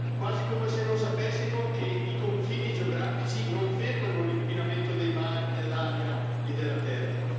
Quasi come se non sapessimo che i confini geografici non fermano l'inquinamento dei mari, dell'aria e della terra.